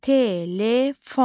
Telefon.